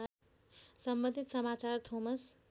सम्बन्धित समाचार थोमस